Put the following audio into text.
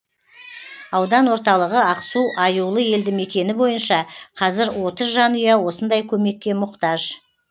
аудан орталығы ақсу аюлы елді мекені бойынша қазір отыз жанұя осындай көмекке мұқтаж